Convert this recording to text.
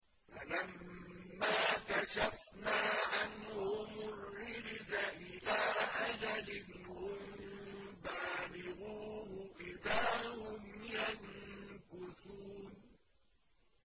فَلَمَّا كَشَفْنَا عَنْهُمُ الرِّجْزَ إِلَىٰ أَجَلٍ هُم بَالِغُوهُ إِذَا هُمْ يَنكُثُونَ